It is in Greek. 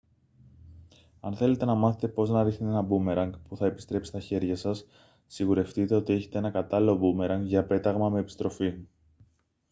αν θέλετε να μάθετε πώς να ρίχνετε ένα μπούμερανγκ που θα επιστρέψει στα χέρια σας σιγουρευτείτε ότι έχετε ένα κατάλληλο μπούμερανγκ για πέταγμα με επιστροφή